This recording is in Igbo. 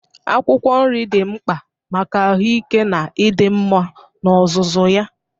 Akwụkwọ nri dị mkpa maka ahụike na ịdị mma n'ozuzu ya.